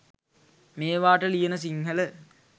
මේවාට ලියන සින්හල